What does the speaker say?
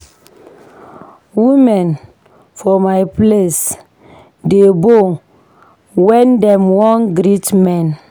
Women for my place dey bow wen dem wan greet men.